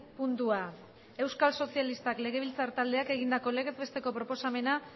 puntua euskal sozialistak legebiltzar taldeak egindako legez besteko proposamena